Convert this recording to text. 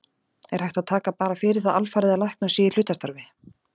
Er hægt að taka bara fyrir það alfarið að læknar séu í hlutastarfi?